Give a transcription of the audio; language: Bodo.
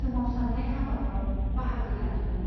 सोमावसारनाय हाबाफ्राव बाहागो लादोंमोन।